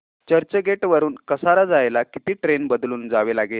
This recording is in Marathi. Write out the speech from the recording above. चर्चगेट वरून कसारा जायला किती ट्रेन बदलून जावे लागेल